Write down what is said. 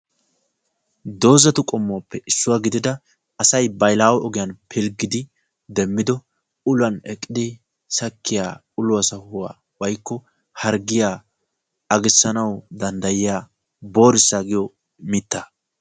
dozza qommo gidida wogaa xale gidida boorissa giyo xaletettaw maadiya dozza.